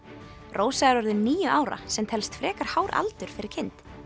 rósa er orðin níu ára sem telst frekar hár aldur fyrir kind